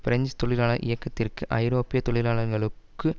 French தொழிலாளர் இயக்கத்திற்கு ஐரோப்பிய தொழிலாளர்களுக்கு